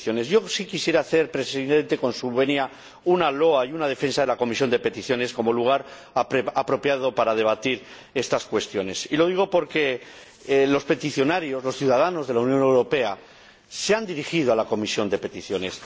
Yo sí quisiera hacer, señor Presidente, con su venia, una loa y una defensa de la Comisión de Peticiones como lugar apropiado para debatir estas cuestiones. Y lo digo porque los peticionarios, los ciudadanos de la Unión Europea, se han dirigido a la Comisión de Peticiones.